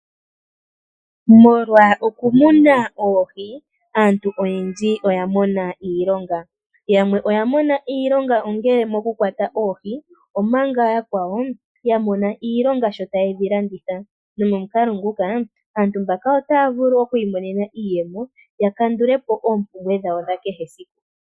Molwa oku muna oohi, aantu oyendji oya mona iilonga. Yamwe oya mona iilonga ongele omo ku kwata oohi, omanga yakwawo ya mona iilonga sho tayedhi landitha. Nomomukalo nguka aantu mbaka otaya vulu oku imonena iiyemo ya kandulepo oompumbwe dhawo dha kehe esiku.